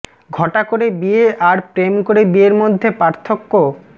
ঘটা করে বিয়ে আর প্রেম করে বিয়ের মধ্যে পার্থক্য